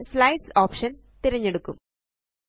നമ്മള് slides option തിരഞ്ഞെടുക്കും